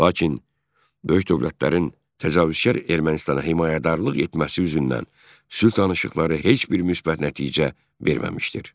Lakin böyük dövlətlərin təcavüzkar Ermənistana himayədarlıq etməsi yüzündən sülh danışıqları heç bir müsbət nəticə verməmişdir.